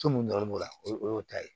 So mun dɔrɔn b'o la o y'o ta ye